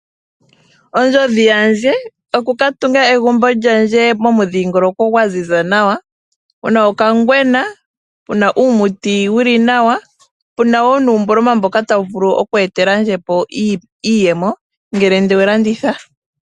Ondjodhi yandje oku ka tunga egumbo lyandje momudhingoloko gwa ziza nawa, mu na okangwena, mu na uumuti wu li nawa, po opu na uumboloma ta wu vu lu oku etelandje iiyemo ngele nde wu landitha.